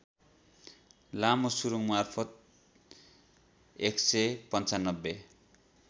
लामो सुरुङमार्फत १९५